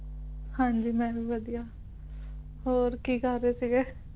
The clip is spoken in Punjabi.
ਹਾਂਜੀ ਮੈਂ ਵੀ ਵਧੀਆ ਹੋਰ ਕੀ ਕਰ ਰਹੇ ਸੀਗੇ